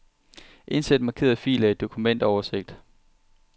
Indsæt markerede filer i dokumentoversigt.